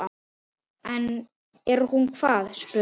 Er hún hvað, spurði